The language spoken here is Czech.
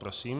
Prosím.